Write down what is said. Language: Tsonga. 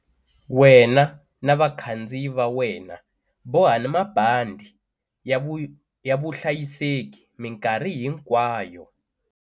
Wena na vakhandziyi va wena bohani mabandhi ya vuhlayiseki mikarhi hinkwayo.